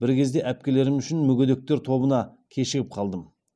бір кезде әпкелерім үшін мүгедектер тобына кешігіп қалдым